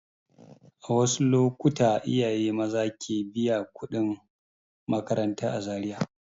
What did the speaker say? A wasu lokuta iyaye maza ke biyan kuɗin makaranta a Zariya.